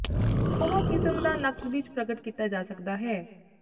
ਉਹ ਕਿਸਮ ਜ ਨਕਦ ਵਿਚ ਪ੍ਰਗਟ ਕੀਤਾ ਜਾ ਸਕਦਾ ਹੈ